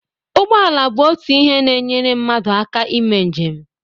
Ụgbọ ala bụ otu ihe na-enyere mmadụ aka ime njem.